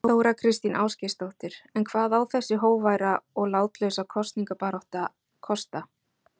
Þóra Kristín Ásgeirsdóttir: En hvað á þessi hógværa og látlausa kosningabarátta kosta?